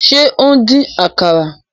Se o n dín àkàrà?